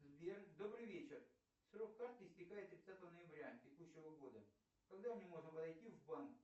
сбер добрый вечер срок карты истекает тридцатого ноября текущего года когда мне можно подойти в банк